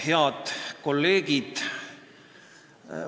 Head kolleegid!